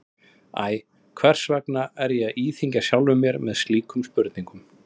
Æ, hvers vegna er ég að íþyngja sjálfum mér með slíkum spurnum?